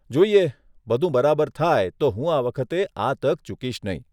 જોઈએ, બધું બરાબર થાય તો હું આ વખતે આ તક ચૂકીશ નહીં.